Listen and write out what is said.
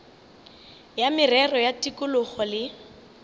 ya merero ya tikologo le